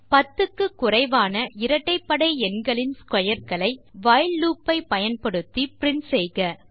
10 க்கு குறைவான இரட்டைப்படை எண்களின் ஸ்க்வேர் களை வைல் லூப் ஐ பயன்படுத்தி பிரின்ட் செய்க